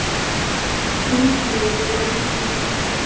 sjónsviðið er óslitið